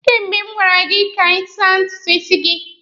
Kemgbe m gwara gị ka ị saa ntutu isi gị!